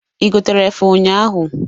Ị gotere efe ụnyaahụ?